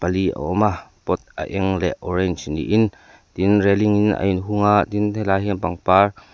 awm a pot a eng leh orange ni in tin railling in a in hung a tin he lai hi pangpar.